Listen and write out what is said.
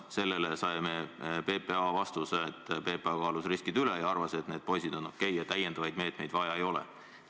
Sellele saime PPA vastuse, et PPA kaalus riskid üle ja arvas, et need poisid on okei ja täiendavaid meetmeid vaja ei ole.